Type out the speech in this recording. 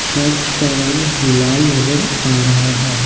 Church का रंग लाल नजर आ रहा है।